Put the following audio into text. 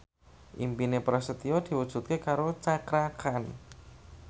impine Prasetyo diwujudke karo Cakra Khan